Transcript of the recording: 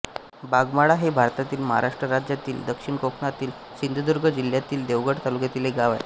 बागमाळा हे भारतातील महाराष्ट्र राज्यातील दक्षिण कोकणातील सिंधुदुर्ग जिल्ह्यातील देवगड तालुक्यातील एक गाव आहे